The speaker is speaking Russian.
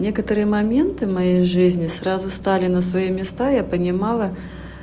некоторые моменты моей жизни сразу стали на свои места я понимала